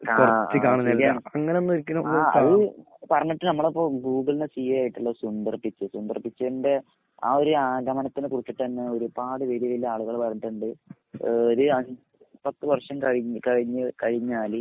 ആഹ് അങ്ങനൊന്നും ഒരിക്കലും ആഹ് അത് പറഞ്ഞിട്ട് നമ്മളെ ഇപ്പൊ ഗൂഗിളിന്റെ സി എ ആയിട്ടുള്ള സുന്ദർജിത്ത് സുന്ദർജിത്തിന്റെ ആ ഒരു ആഗമനത്തെ കുറിചിട്ടന്നെ ഒരുപാട് വലിയ വലിയ ആളുകള് പറഞ്ഞിട്ടുണ്ട് ഏ ഒരു അഞ്ച് എട്ടു പത്തു വർഷം കഴിഞ്ഞ് കഴിഞ്ഞ് കഴിഞ്ഞാല്